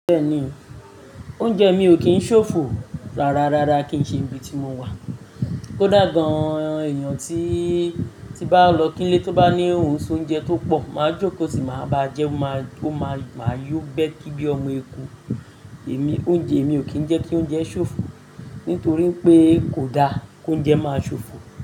Bẹ́ẹ̀ni, oúnjẹ mi ò kí ń ṣòfò. Rárárárá kì í ṣe ibi tí mo wà. Kódà gan-an èèyàn tí, tí n bá lọ kí ni ilé tó bá ní ohun se ounjẹ tó pọ̀, máa jókòó tì máa ba jẹ́, mó máa, máa yó békí bí ọmọ eku. Èmi, oúnjẹ mi ò kí ń jẹ́ kí oúnjẹ ṣòfò, nítorí pé kò da k'óúnjẹ máa ṣòfò.